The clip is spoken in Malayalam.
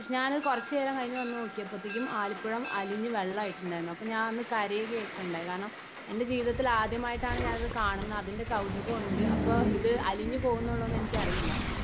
സ്പീക്കർ 1 ഷ് ഞാന് കുറച്ചു നേരം കഴിഞ് വന്ന്നോക്കിയപ്പഴത്തേക്കും ആലിപ്പഴം അലിഞ് വെള്ളായിട്ടുണ്ടാരുന്നു അപ്പൊ ഞാൻ കരയുകയട്ടുണ്ടായത് കാരണം എൻ്റെ ജീവിതത്തിൽ ആദ്യമായിട്ടാണ് കാണുന്നത് അതിൻ്റെ കൗതുകമുണ്ട് അപ്പൊ ഇത് അലിഞ്ഞുപോവുന്നുള്ളത് എനിക്കറിയില്ല.